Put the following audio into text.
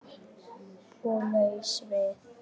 Og laus við